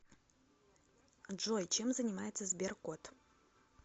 джой чем занимается сберкот